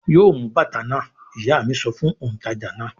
"Yóò mú bàtà náà!" Ìyá mi sọ fún òǹtajà náà.